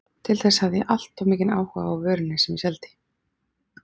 Til þess hafði ég allt of mikinn áhuga á vörunni sem ég seldi.